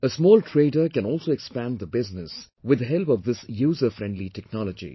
A small trader can also expand the business with the help of this user friendly technology